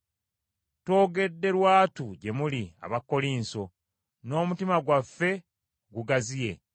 Twogedde lwatu gye muli Abakkolinso, n’omutima gwaffe gugaziye.